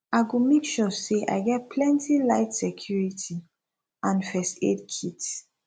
i go make sure say i get plenty light security and first aid kit